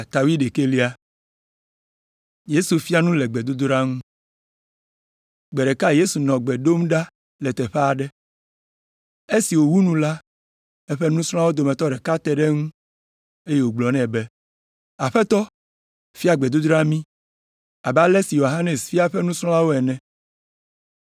Gbe ɖeka Yesu nɔ gbe dom ɖa le teƒe aɖe. Esi wòwu nu la, eƒe nusrɔ̃lawo dometɔ ɖeka te ɖe eŋu, eye wògblɔ nɛ be, “Aƒetɔ, fia gbedodoɖa mí abe ale si Yohanes fia eƒe nusrɔ̃lawo ene.”